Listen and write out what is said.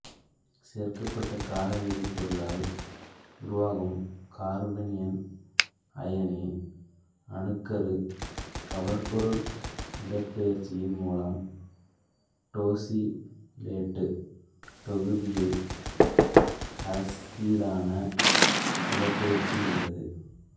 சேர்க்கப்பட்ட கார வேதிப்பொருளால் உருவாகும் கார்பானியன் அயனி அணுக்கரு கவர்பொருள் இடப்பெயர்ச்சியின் மூலம் டோசிலேட்டு தொகுதியை அசிரினாக இடப்பெயர்ச்சி செய்கிறது